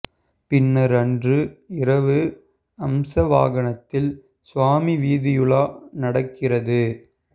பின்னர் அன்று இரவு அம்ச வாகனத்தில் சுவாமி வீதியுலா நடக்கிறது